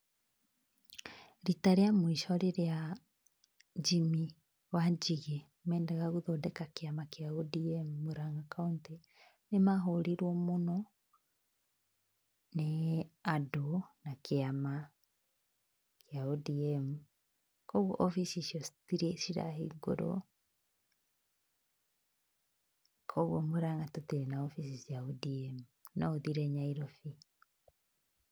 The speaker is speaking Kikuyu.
Rita rĩa mũico rĩrĩa Jimmy Wanjigĩ mendaga gũthondeka kĩama kĩa ODM Mũrang'a kaũntĩ nĩ mahũrirwo mũno nĩ andũ na kĩama kĩa ODM, koguo wabici ciao citirĩ cirahingũrĩo koguo Mũrang'a tũtirĩ na wabici cia ODM, no ũthiire Nairobi.